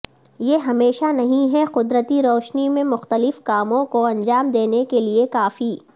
یہ ہمیشہ نہیں ہے قدرتی روشنی میں مختلف کاموں کو انجام دینے کے لئے کافی